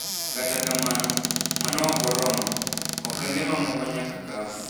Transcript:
Kata kamano, mano okoromo. Okenge mamoko nyaka kau.